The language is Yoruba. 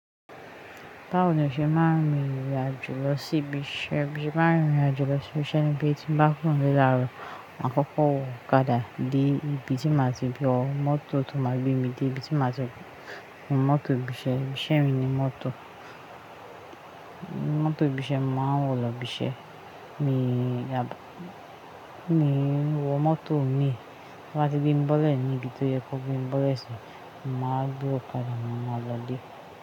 Báwo ni o ṣe máa ń rìnrìn àjò lọ sí ibi iṣẹ́? Bí mo ṣe máa ń rìnrìn àjò lọ sí ibi iṣẹ́ ni pé tí n bá kuro nle làárọ̀ Màkọ́kọ́, wọ ọ̀kadà dé ibi tí màá ti wọ́ mọ́tò tó máa gbé mi dé ibi tí màá ti gùn mọ́tò ibi iṣẹ́. Ibi iṣẹ́ mi ni mọ́tò. Mọ́tò ibi iṣẹ́ mo n máa wọ̀ lọ ibi iṣẹ́. Ní wọ mọ́tò mi. Tán bá ti gbé mi bọ́lẹ̀ ẹni bí tó yẹ kó gbé mi bọ́lẹ̀ síbí, màá gbé ọ̀kadà máa lọ ilé.